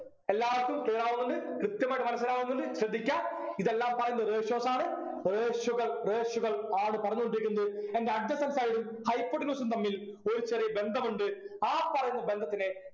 എല്ലാവർക്കും clear ആവുന്നുണ്ട് കൃത്യമായിട്ട് മനസ്സിലാവുന്നുണ്ട് ശ്രദ്ധിക്ക ഇതെല്ലാം പറയുന്ന ratios ആണ് ratio കൾ ratio കൾ ആണ് പറഞ്ഞോണ്ടിരിക്കുന്നത് എൻ്റെ adjacent side ഉം hypotenuse ഉം തമ്മിൽ ഒരു ചെറിയ ബന്ധമുണ്ട് ആ പറയുന്ന ബന്ധത്തിനെ